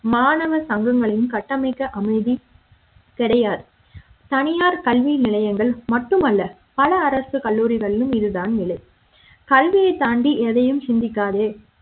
மாணவர் சங்கங்களின் கட்டமைக்க அனுமைதி கிடையாது தனியார் கல்வி நிலையங்கள் மட்டுமல்ல பல அரசு கல்லூரிகளிலும் இது தான் நிலை கல்வியை தாண்டி எதையும் சிந்திக்காதே